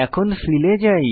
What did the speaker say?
এখন ফিল এ যাই